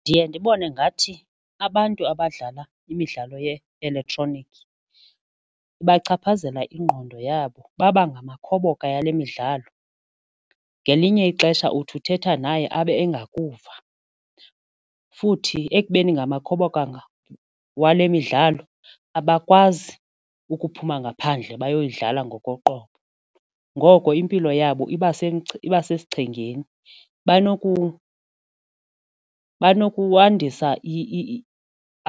Ndiye ndibone ngathi abantu abadlala imidlalo ye-elektroniki ibachaphazela ingqondo yabo baba ngamakhoboka yale midlalo. Ngelinye ixesha uthi uthetha naye abe engakuva futhi babe ekubeni ngamakhoboka wale midlalo abakwazi ukuphuma ngaphandle bayoyidlala ngokoqoqobo ngoko impilo yabo iba iba sesichengeni. banokwandisa